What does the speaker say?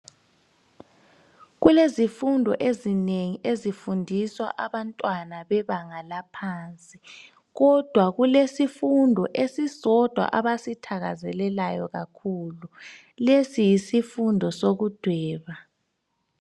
Kulezifundo ezinengi ezifundwisa abantwana bebanga laphansi kodwa kulesifundo esisodwa abasithakazelelayo kakhulu lesi yisifundo sokudweba.